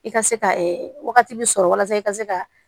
I ka se ka wagati bi sɔrɔ walasa i ka se ka